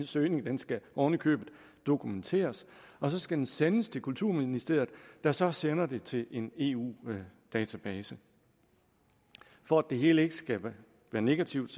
søgning skal oven i købet dokumenteres og så skal den sendes til kulturministeriet der så sender det til en eu database for at det hele ikke skal være negativt